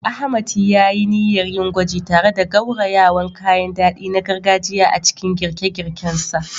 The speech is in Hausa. Ahmad ya yi niyyar yin gwaji tare da gaurayawan kayan dadi na gargajiya a cikin girke-girken sa.